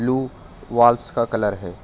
Blue walls का colour है।